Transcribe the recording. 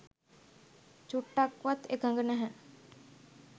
චුට්ටක්වත් එකඟ නැහැ.